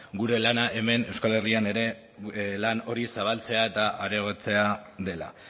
gure lana hemen euskal herrian ere lan hori zabaltzea eta areagotzea dela